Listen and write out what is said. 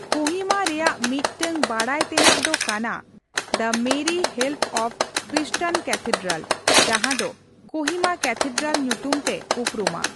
ᱠᱳᱦᱤᱢᱟ ᱨᱮᱭᱟᱜ ᱢᱤᱫ ᱴᱟᱝ ᱵᱟᱰᱟᱭ ᱛᱮᱱᱟᱜ ᱫᱚ ᱠᱟᱱᱟ the Mary help of Christians cathedral, ᱡᱟᱦᱟᱸ ᱫᱚ ᱠᱳᱦᱤᱢᱟ ᱠᱮᱛᱷᱮᱰᱨᱞᱟᱞ ᱧᱩᱛᱩᱢ ᱛᱮ ᱩᱯᱨᱩᱢᱟ ᱾